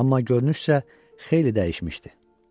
Amma görünüşsə xeyli dəyişmişdi.